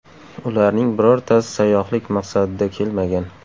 Ularning birortasi sayyohlik maqsadida kelmagan.